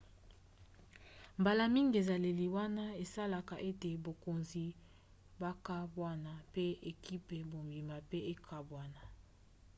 mbala mingi ezaleli wana esalaka ete bakonzi bakabwana pe ekipe mobimba pe ekabwana